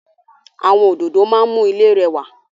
Àwọn òdòdó máa ń mú ilé rẹwà